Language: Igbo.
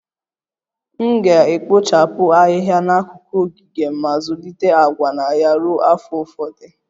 M ga-ekpochapụ Ahịhịa n'akụkụ ogige m ma zụlite agwa na ya ruo afọ ụfọdụ